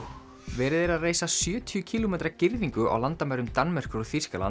verið er að reisa sjötíu kílómetra girðingu á landamærum Danmerkur og Þýskalands